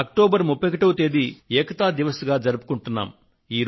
October 31వ తేదీ ఏకతా దివస్ గా జరుపుకొంటున్నాము